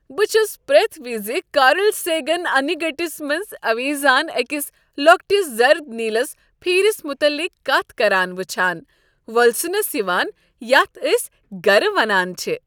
بہٕ چھس پرٛیتھ وز کارل سیگن انہ گٔٹس منٛز اویزان أکس لۄکٹس زرٕد نیٖلس پھیرِس متعلق کتھ کران وٕچھان وولسنس یوان یتھ أسۍ گرٕ ونان چھ ۔